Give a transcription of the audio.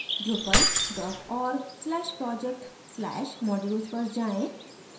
drupal org/project/modules पर जाएँ